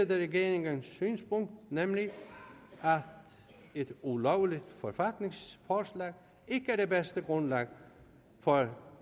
regeringens synspunkt nemlig at et ulovligt forfatningsforslag ikke er det bedste grundlag for